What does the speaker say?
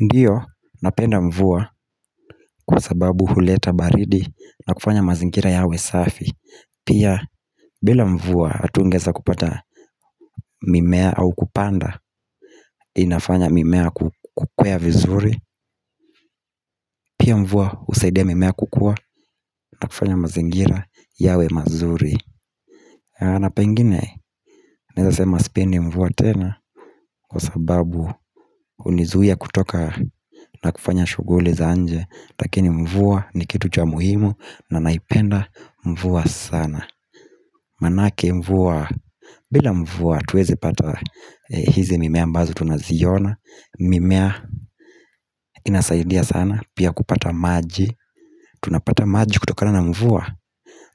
Ndiyo napenda mvua kwa sababu huleta baridi na kufanya mazingira yawe safi Pia bila mvua hatungeza kupata mimea au kupanda inafanya mimea kukwea vizuri Pia mvua usaidia mimea kukua na kufanya mazingira yawe mazuri na pengine naeza sema spendi mvua tena kwa sababu unizuia kutoka na kufanya shuguli za nje lakini mvua ni kitu cha muhimu na naipenda mvua sana Manake mvua bila mvua tuwezi pata hizi mimea ambazo tunaziona mimea inasaidia sana pia kupata maji tunapata maji kutokana na mvua